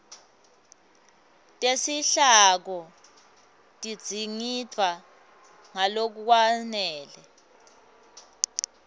tesihloko tidzingidvwe ngalokwanele